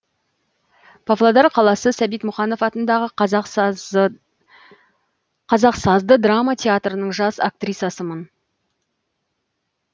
павлодар қаласы сәбит мұқанов атындағы қазақ сазды драма театрының жас актрисасымын